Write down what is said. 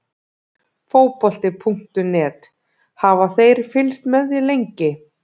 Fótbolti.net: Hafa þeir fylgst með þér lengi?